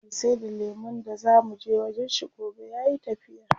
Me saida lemun da zaa muje wajen shi gobe yayi tafiya.